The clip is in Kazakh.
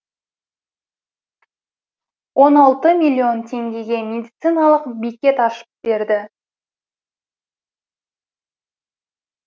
он алты миллион теңгеге медициналық бекет ашып берді